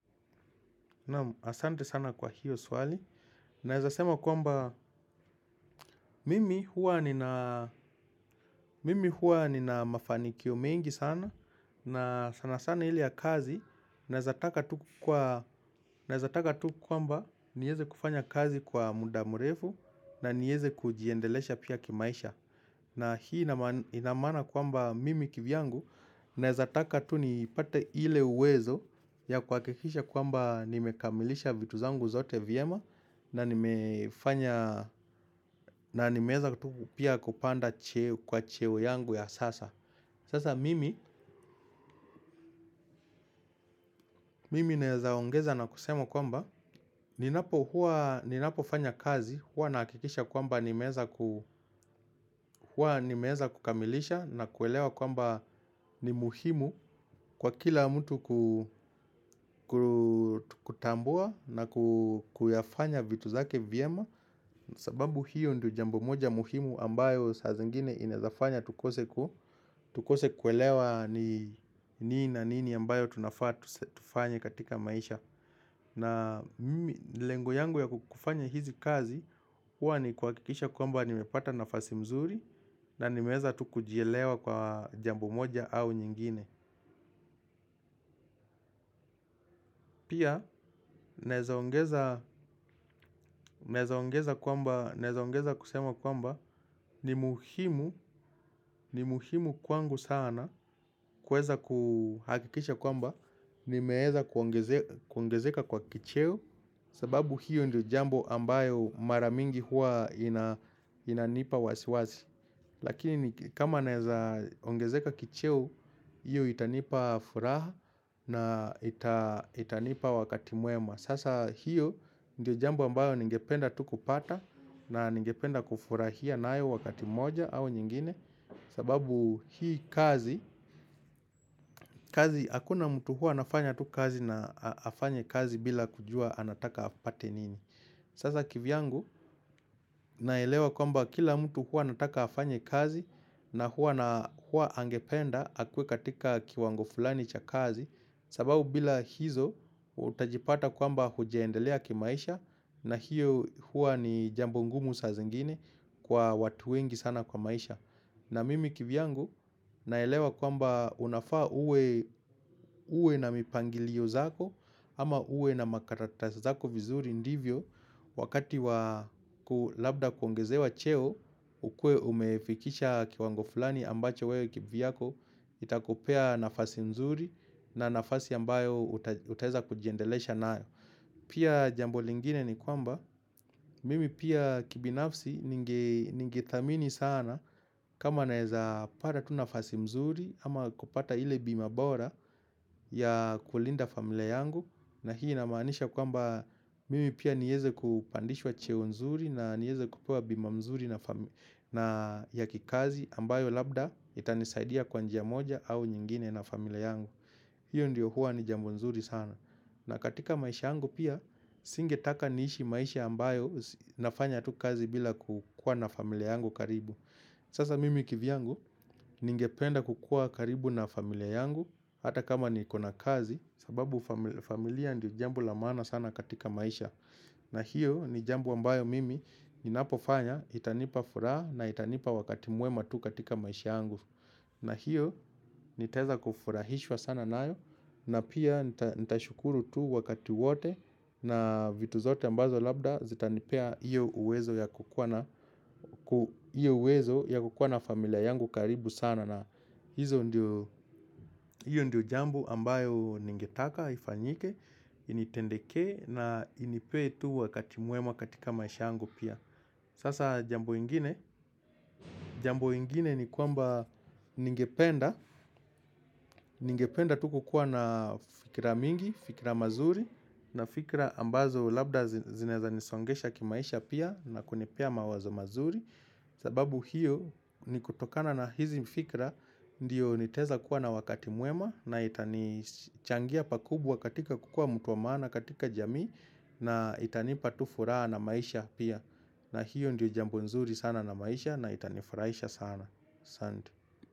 Asante sana kwa hiyo swali, naezasema kwamba mimi huwa nina mimi huwa nina mafanikio mengi sana, na sana sana ile ya kazi, naezataka tu kwamba niweze kufanya kazi kwa muda mrefu na nieze kujiendelesha pia kimaisha. Na hii inamaana kwamba mimi kivyangu naezataka tu nipate ile uwezo ya kuhakikisha kwamba nimekamilisha vitu zangu zote vyema na nimeweza tu pia kupanda kwa cheo yangu ya sasa. Sasa mimi, mimi nawezaongeza na kusema kwamba, ninapokuwa, ninapofanya kazi, huwa nahakikisha kwamba nimeweza ku, huwa nimeweza kukamilisha na kuelewa kwamba ni muhimu kwa kila mtu kutambua na kuyafanya vitu zake vyema. Sababu hiyo ndio jambo moja muhimu ambayo saa zingine inaezafanya tukose ku tukose kuelewa ni nini na nini ambayo tunafaa tufanye katika maisha. Na lengo yangu ya kufanya hizi kazi huwa ni kuhakikisha kwamba nimepata nafasi mzuri na nimeweza tu kujielewa kwa jambo moja au nyingine. Pia naezaongeza kusema kwamba ni muhimu, ni muhimu kwangu sana kuweza kuhakikisha kwamba nimeweza kuongezeka kwa kicheo. Sababu hiyo ndio jambo ambayo mara mingi huwa inanipa wasiwasi. Lakini kama naeza ongezeka kicheo hiyo itanipa furaha na itanipa wakati mwema. Sasa hiyo ndio jambo ambayo ningependa tu kupata na ningependa kufurahia nayo wakati moja au nyingine. Sababu hii kazi, kazi hakuna mtu huwa anafanya tu kazi na afanye kazi bila kujua anataka apate nini. Sasa kivyangu naelewa kwamba kila mtu huwa anataka afanye kazi na huwa na huwa angependa akuwe katika kiwango fulani cha kazi. Sababu bila hizo utajipata kwamba hujaendelea kimaisha. Na hiyo huwa ni jambo ngumu saa zingine kwa watu wengi sana kwa maisha. Na mimi kivyangu naelewa kwamba unafaa uwe uwe na mipangilio zako ama uwe na makaratas zako vizuri ndivyo wakati wa ku, labda kuongezewa cheo, ukuwe umefikisha kiwango fulani ambacho wewe kivyako itakupea nafasi mzuri na nafasi ambayo utaweza kujiendelesha nayo. Pia jambo lingine ni kwamba mimi pia kibinafsi ningethamini sana kama naezapata tu nafasi mzuri ama kupata ile bima bora ya kulinda familia yangu na hii inamaanisha kwamba mimi pia niweze kupandishwa cheo nzuri na nieze kupewa bima mzuri na ya kikazi ambayo labda itanisaidia kwa njia moja au nyingine na familia yangu. Hiyo ndiyo huwa ni jambo nzuri sana. Na katika maisha yangu pia, singetaka niishi maisha ambayo nafanya tu kazi bila kukuwa na familia yangu karibu. Sasa mimi kivyangu, ningependa kukuwa karibu na familia yangu hata kama niko na kazi, sababu familia ndiyo jambo la maana sana katika maisha. Na hiyo ni jambo ambayo mimi ninapofanya itanipa furaha na itanipa wakati mwema tu katika maisha yangu. Na hiyo nitaeza kufurahishwa sana nayo na pia nitashukuru tu wakati wote na vitu zote ambazo labda zitanipea hiyo uwezo ya kukuwa na hiyo uwezo ya kukuwa na familia yangu karibu sana na hizo ndio, hiyo ndio jambo ambayo ningetaka ifanyike, initendekee na inipee tu wakati mwema katika maisha yangu pia. Sasa jambo ingine, jambo ingine ni kwamba ningependa, ningependa tu kukuwa na fikira mingi, fikira mazuri, na fikira ambazo labda zinaeza nisongesha kimaisha pia na kunipea mawazo mazuri, sababu hiyo ni kutokana na hizi fikira ndiyo nitaeza kuwa na wakati mwema na itanichangia pakubwa katika kukuwa mtu wa maana katika jamii na itanipa tu furaha na maisha pia. Na hiyo ndiyo jambo nzuri sana na maisha na itanifurahisha sana, asante.